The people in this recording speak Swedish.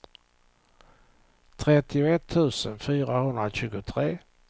trettioett tusen fyrahundratjugotre